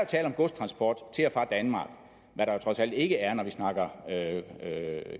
tale om godstransport til og fra danmark hvad der trods alt ikke er når vi snakker